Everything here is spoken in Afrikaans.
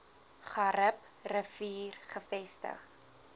garib rivier gevestig